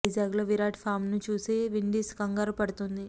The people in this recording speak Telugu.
వైజాగ్ లో విరాట్ ఫామ్ ను చూసి విండీస్ కంగారు పడుతుంది